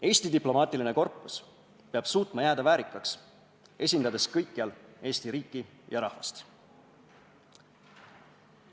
Eesti diplomaatiline korpus peab suutma jääda väärikaks, esindades kõikjal Eesti riiki ja rahvast.